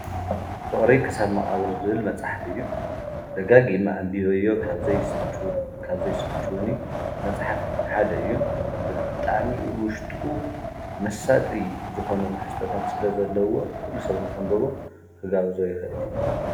ፍቅሪ ክሳብ መቃብር ዝብል መፅሓፍ እዩ። ደጋጊሙ አንቢበዮ ካብ ዘይስልችወኒ መፅሓፍ ሓደ እዩ። ብጣዕሚ ውሽጡ መሳጢ ዝኮኑ ትሕዝቶታት ስለ ዘለዎ ኩሉ ሰብ ንከንብቦ ክጋብዞ ይክእል እየ።